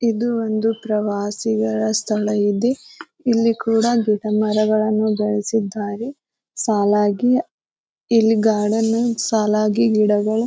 ಇದು ಒಂದು ಪ್ರವಾಸಿಗರ ಸ್ಥಳ ಇದೆ. ಇಲ್ಲಿ ಕೂಡ ಗಿಡ ಮರಗಳನ್ನು ಬೆಳೆಸಿದ್ದಾರೆ. ಸಾಲಾಗಿ ಇಲ್ಲಿ ಗಾರ್ಡನ್ ಸಾಲಾಗಿ ಗಿಡಗಳ --